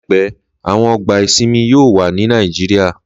Láìpẹ́, àwọn ọgbà ìsinmi yóò wà ní Nàìjíríyà